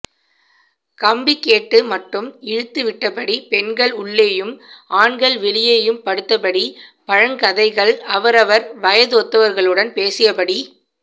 கம்பி கேட்டு மட்டும் இழுத்து விட்டபடி பெண்கள் உள்ளேயும் ஆண்கள் வெளியேயும் படுத்தபடி பழங்கதைகள் அவரவர் வயதொத்தவர்களுடன் பேசியபடி